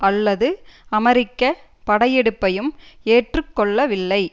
அல்லது அமெரிக்க படையெடுப்பையும் ஏற்று கொள்ளவில்லை